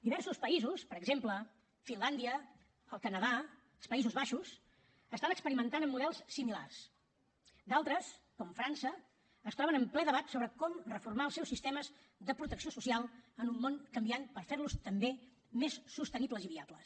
diversos països per exemple finlàndia el canadà els països baixos estan experimentant amb models similars d’altres com frança es troben en ple debat sobre com reformar els seus sistemes de protecció social en un món canviant per fer los també més sostenibles i viables